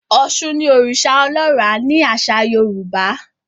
Òshun ní oriṣa ọlọra ni aṣa Yorùbá